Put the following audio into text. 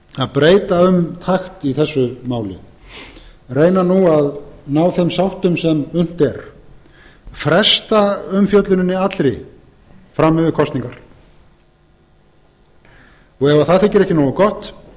að breyta um takt í þessu máli reyna nú að ná þeim sáttum sem unnt er fresta umfjölluninni allri fram yfir kosningar ef það þykir ekki nógu gott